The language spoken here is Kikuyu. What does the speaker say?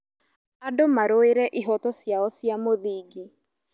Andũ marũĩre ihooto ciao cia mũthingi.